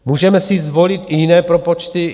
Můžeme si zvolit i jiné propočty.